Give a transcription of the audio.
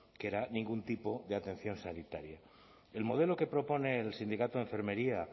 que era ningún tipo de atención sanitaria el modelo que propone el sindicato de enfermería